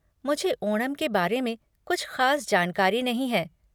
मुझे ओणम के बारे में कुछ ख़ास जानकारी नहीं है।